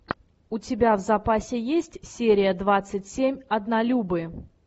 у тебя в запасе есть серия двадцать семь однолюбы